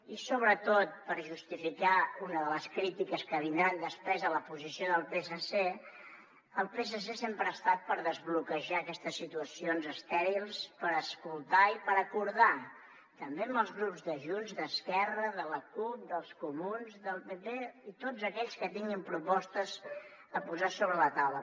i sobretot per justificar una de les crítiques que vindran després a la posició del psc el psc sempre ha estat per desbloquejar aquestes situacions estèrils per escoltar i per acordar també amb els grups de junts d’esquerra de la cup dels comuns del pp i tots aquells que tinguin propostes a posar sobre la taula